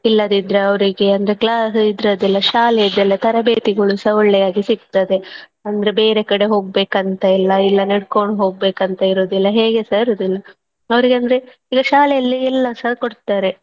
ಇಲ್ಲದಿದ್ರೆ ಅವರಿಗೆ ಅಂದ್ರೆ class ಇದ್ರದ್ದೆಲ್ಲಾ ಶಾಲೆಯದ್ದೆಲ್ಲಾ ತರಬೇತಿಗಳುಸ ಒಳ್ಳೆಯಾಗಿ ಸಿಗ್ತದೆ ಅಂದ್ರೆ ಬೇರೆ ಕಡೆ ಹೋಗ್ಬೇಕಂತ ಇಲ್ಲಾ ಇಲ್ಲಾ ನಡ್ಕೊಂಡು ಹೋಗ್ಬೇಕಂತ ಇರೋದಿಲ್ಲಾ ಹೇಗೆಸ ಇರುದಿಲ್ಲ ಅವರಿಗಂದ್ರೆ ಈಗ ಶಾಲೆಯಲ್ಲಿ ಎಲ್ಲಸಾ ಕೊಡ್ತಾರೆ.